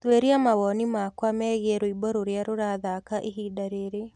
tuuria mawoni makwa meegĩe rwĩmbo rũrĩa rurathaka ĩhĩnda riri